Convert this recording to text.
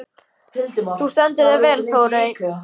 Þú stendur þig vel, Þórey!